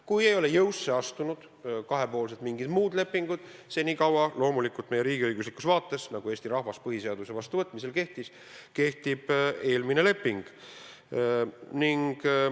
Kuni ei ole kahepoolselt jõusse astunud mingid muud lepingud, senikaua – loomulikult meie riigiõiguslikus vaates, nagu Eesti rahvas põhiseaduse vastuvõtmisel soovis – kehtib eelmine leping.